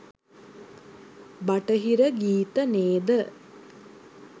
බටහිර ගීත නේද?